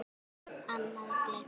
Annað: Gleymt.